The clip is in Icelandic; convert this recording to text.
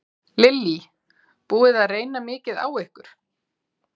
Lillý: Búið að reyna mikið á ykkur?